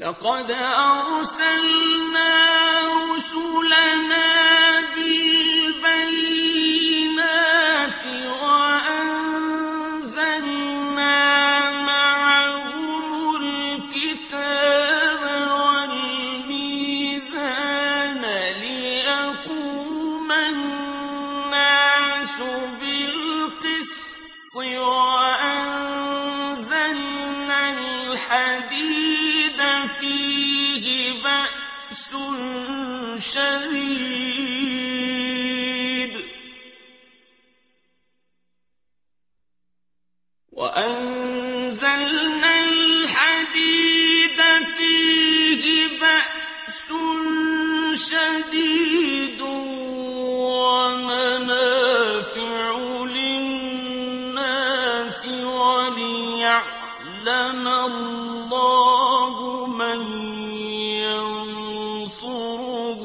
لَقَدْ أَرْسَلْنَا رُسُلَنَا بِالْبَيِّنَاتِ وَأَنزَلْنَا مَعَهُمُ الْكِتَابَ وَالْمِيزَانَ لِيَقُومَ النَّاسُ بِالْقِسْطِ ۖ وَأَنزَلْنَا الْحَدِيدَ فِيهِ بَأْسٌ شَدِيدٌ وَمَنَافِعُ لِلنَّاسِ وَلِيَعْلَمَ اللَّهُ مَن يَنصُرُهُ